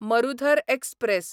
Marudhar express